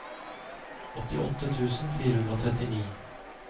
åttiåtte tusen fire hundre og trettini